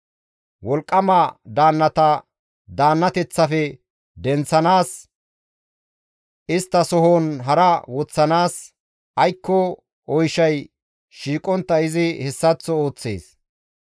Wolqqama daannata daannateththafe denththanaas, isttasohon hara woththanaas, aykko oyshay shiiqontta izi hessaththo ooththees.